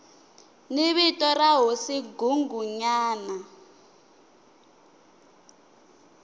ni vito ra hosi nghunghunyana